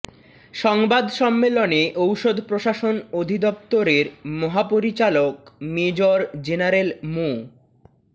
সংবাদ সম্মেলনে ঔষধ প্রশাসন অধিদপ্তরের মহাপরিচালক মেজর জেনারেল মো